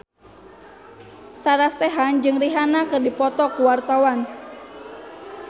Sarah Sechan jeung Rihanna keur dipoto ku wartawan